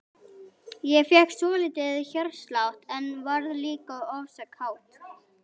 Ég fékk svolítinn hjartslátt, en varð líka ofsa kát.